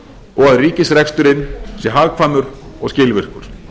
og að ríkisreksturinn sé hagkvæmur og skilvirkur